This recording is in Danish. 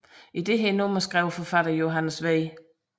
I dette nummer skrev forfatteren Johannes V